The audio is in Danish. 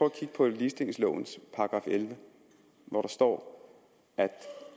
at kigge på ligestillingslovens § elleve hvor der står at